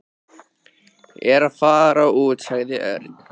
Ég er að fara út sagði Örn.